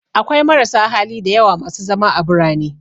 Akwai marasa hali da yawa masu zama a birane